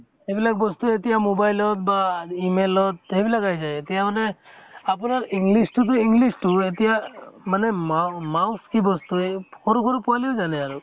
এই বিলাক বস্তু এতিয়া mobile ত বা email অত সেইবিলাক আহি যায়, এতিয়া মানে আপোনাৰ english টোতো english টো এতিয়া মানে মাও mouse কি বস্তু এই সৰু সৰু পোৱালীও জানে আৰু